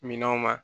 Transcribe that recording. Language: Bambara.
Minɛnw ma